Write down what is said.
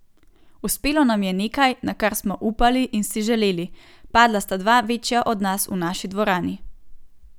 Uspelo nam je nekaj, na kar smo upali in si želeli, padla sta dva večja od nas v naši dvorani.